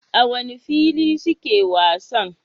A wane fili suke wasan?